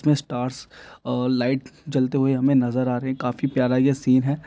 Stars अ light जलते हुए हमें नजर आ रहे है काफी प्यारा ये सिन है।